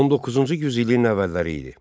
19-cu yüzilliyin əvvəlləri idi.